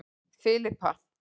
Filippa